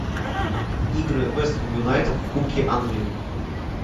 игры вест хэм юнайтед в кубке англии